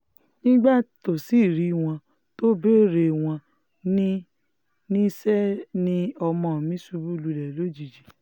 nígbà tó sì rí wọn tó béèrè wọn ní níṣẹ́ ni ọmọ mi ṣubú lulẹ̀ lójijì